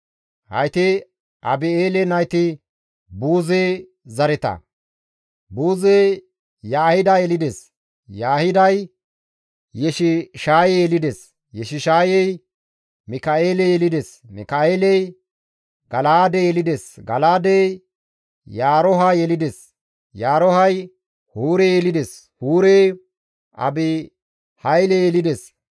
Hayti Abi7eele nayti Buuze zareta; Buuzey Yaahida yelides; Yaahiday Yeshishaaye yelides; Yeshishaayey Mika7eele yelides; Mika7eeley Gala7aade yelides; Gala7aadey Yaarooha yelides; Yaaroohay Huure yelides; Huurey Abihayle yelides.